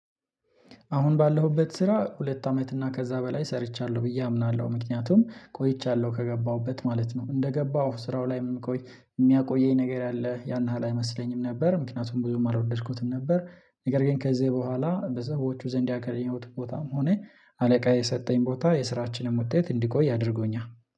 አሁን ባለሁበት ስራ ሁለት አመት እና ከዛ በላይ ሰርቻለሁ ብዬ አምናለሁ ምክንያቱም ቆይቻለሁ ከገባሁበት ማለት ነው። እንደገባሁ ስራው ላይም እኮ የሚያቆየኝ ነገር ያለ ያን ያህል ያለ አይመስለኝም ነበር ምክንያቱም ብዙም አልወደድኩትም ነበር። ነገር ግን ከዚህ በኋላ በሰዎቹ ዘንድ ያገኘሁት ቦታም ሆነ አለቃየ የሰጠኝ ቦታ የስራችንን ውጤት እንዲቆይ አድርጎኛል።